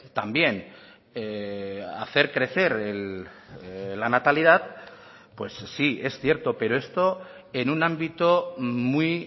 también hacer crecer la natalidad pues sí es cierto pero esto en un ámbito muy